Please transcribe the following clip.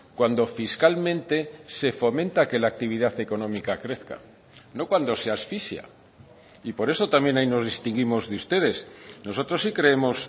cuando fiscalmente se fomenta que la actividad económica crezca no cuando se asfixia y por eso también ahí nos distinguimos de ustedes nosotros sí creemos